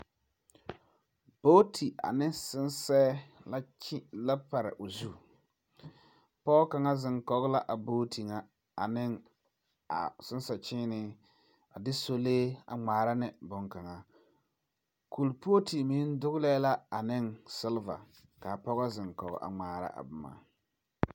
Booti ane sensɛɛ la pare o zu, poge kaŋa ziŋ kɔge la a booti nye a sensɛkyiine a de sɔlee a ŋmaara ne bon kaŋa ,kuripootu meŋ dogelɛɛ la ane seliva kaa poge ziŋkɔge a ŋmaara a boma